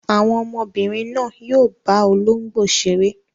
Àwọn ọmọbìnrin náà yóò bá olóńgbò ṣeré.